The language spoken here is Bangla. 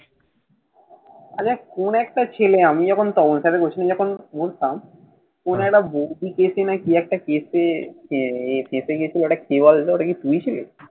তাহলে এমন একটা ছেলে আমি যখন বলতাম, কোন একটা এসে কি একটা case এ ফেঁসে গেছিল। ওটা কে বলতো? ওটা কি তুই ছিলি?